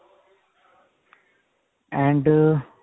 and